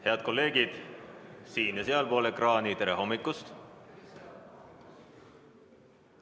Head kolleegid siin- ja sealpool ekraani, tere hommikust!